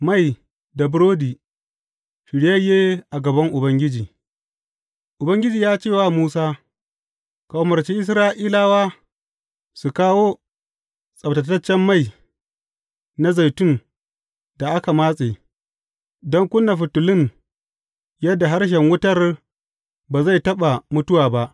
Mai da burodi, shiryayye a gaban Ubangiji Ubangiji ya ce wa Musa, Ka umarci Isra’ilawa su kawo tsabtataccen mai na zaitun da aka matse, don ƙuna fitilun yadda harshen wutar ba zai taɓa mutuwa ba.